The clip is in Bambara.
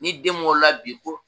Ni den wolo la bii ko